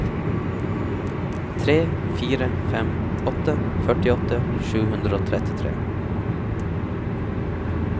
tre fire fem åtte førtiåtte sju hundre og trettitre